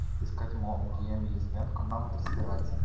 искать мол геям лесбиянка она вот разбирается